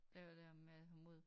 Det jo det der med at have mod